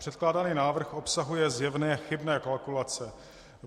Předkládaný návrh obsahuje zjevné chybné kalkulace.